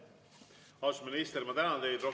Austatud minister, ma tänan teid!